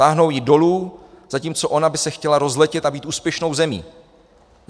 Táhnou ji dolů, zatímco ona by se chtěla rozletět a být úspěšnou zemí.